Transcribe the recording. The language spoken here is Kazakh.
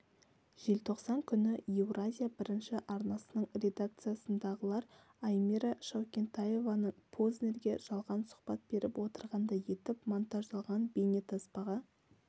желтоқсан күні еуразия бірінші арнасының редакциясындағылар аймира шаукентаеваның познерге жалған сұхбат беріп отырғандай етіп монтаждалған бейнетаспаға